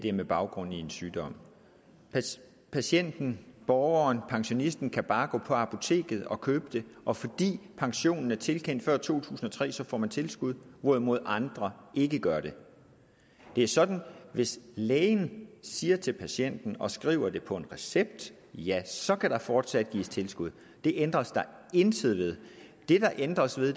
er med baggrund i en sygdom patienten borgeren pensionisten kan bare gå på apoteket og købe det og fordi pensionen er tilkendt før to tusind og tre får man tilskud hvorimod andre ikke gør det det er sådan at hvis lægen siger til patienten og skriver det på en recept ja så kan der fortsat gives tilskud det ændres der intet ved det der ændres ved